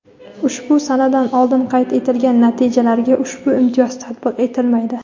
Ushbu sanadan oldin qayd etilgan natijalarga ushbu imtiyoz tatbiq etilmaydi.